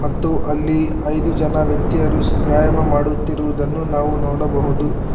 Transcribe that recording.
ಮತ್ತು ಅಲ್ಲಿ ಐದು ಜನ ವ್ಯಕ್ತಿಯರು ವ್ಯಾಯಾಮ ಮಾಡುತ್ತಿರುವುದನ್ನು ನಾವು ನೋಡಬಹುದು.